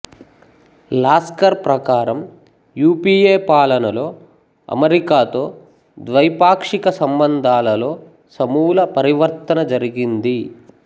lascar ప్రకారం UPA పాలనలో అమెరికాతో ద్వైపాక్షిక సంబంధాలలో సమూల పరివర్తన జరిగింది